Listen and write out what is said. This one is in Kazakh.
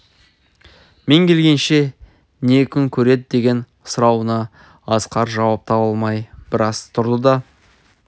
мен келгенше не күн көреді деген сұрауына асқар жауап таба алмай біраз тұрды да